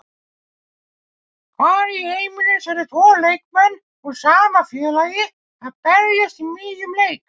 Hvar í heiminum sérðu tvo leikmenn úr sama félagi að berjast í miðjum leik?